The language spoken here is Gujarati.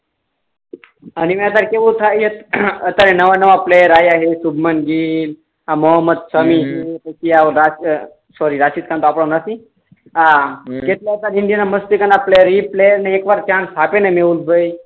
અબી ના અત્યાર કેવું થાય છે અત્યારે નવા નવા પ્લેયર આયા છે શુબમાન ગીલ આ મોહમ્મદ સમી છ હમ રશીદ સોર્રી આ રશીદ ખાન તો આપણો નથી હમ આ કેટલાક વખત ઇન્ડિયા ના મસ્ત પ્લેયર ઈ પ્લેયર ને ક્યાંક ભાઈ